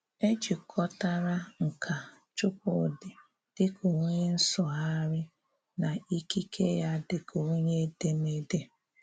É jikọ̀tàrà nkà Chúkwúdị̀ dị ka onye nsụ̀gharị̀ nà ikíke ya dị ka onye èdémédé.